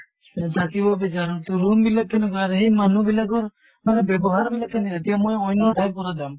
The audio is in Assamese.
উ থাকিব বিচাঁৰো তʼ room বিলাক কেনেকুৱা আৰু সেই মানুহ বিলাকৰ মানে ব্য়ৱহাৰ বিলাক কেনে এতিয়া মই অন্য় ঠাইৰ পৰা যাম